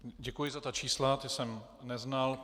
Děkuji za ta čísla, ta jsem neznal.